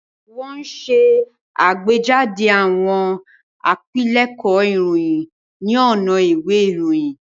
Wọ́n ṣe àgbéjáde àwọn àpilẹ̀kọ ìròyìn ní ọ̀nà ìwé ìròyìn.